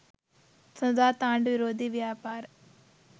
සඳුදාත් ආණ්ඩු විරෝධී ව්‍යාපාර